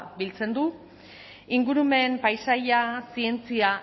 biltzen du ingurumen paisaia zientzia